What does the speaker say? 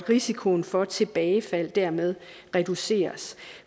risikoen for tilbagefald dermed reduceres